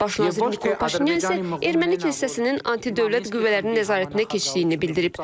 Baş nazir Nikol Paşinyan isə Erməni kilsəsinin antidövlət qüvvələrinin nəzarətinə keçdiyini bildirib.